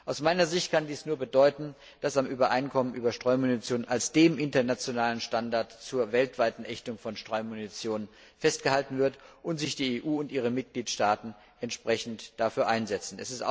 Aus meiner Sicht kann dies nur bedeuten, dass am Übereinkommen über Streumunition als dem internationalen Standard zur weltweiten Ächtung von Streumunition festgehalten wird und sich die EU und ihre Mitgliedstaaten entsprechend dafür einsetzen.